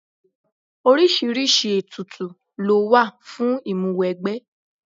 Oríṣiríṣi ètùtù lówà fún ìmúwẹgbẹ́.